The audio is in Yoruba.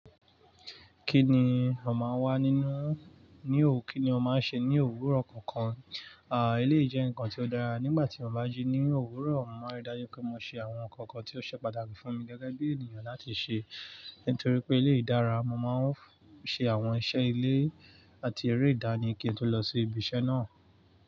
Kí ni ò máa wà nínú, ní ò kí ni o máa ń ṣe ní òwúrọ̀ kankan? À, elé yii jẹ́ nǹkan tí ó dára. Nígbà tí mo bá jí ní òwúrọ̀, mo máa dájú pé mo ṣe àwọn nǹkan kan tí ó ṣe pàtàkì fún mi gẹ́gẹ́ bí ènìyàn láti ṣe. Nítorí pé eléyii dára, mo máa ń ṣe àwọn iṣẹ́ ilé àti eré ìdánì kí n tó lọ sí ibi iṣẹ́ náà.